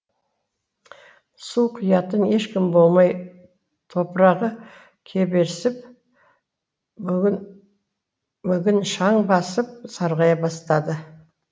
су құятын ешкім болмай топырағы кеберсіп мүгін шаң басып сарғая бастады